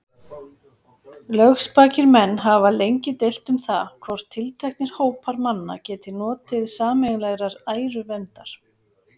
Lögspakir menn hafa lengi deilt um það, hvort tilteknir hópar manna geti notið sameiginlegrar æruverndar.